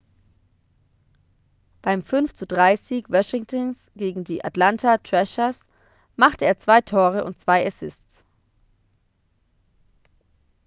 beim 5:3-sieg washingtons gegen die atlanta thrashers machte er 2 tore und 2 assists